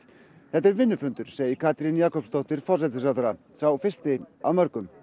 þetta er vinnufundur segir Katrín Jakobsdóttir forsætisráðherra sá fyrsti af mörgum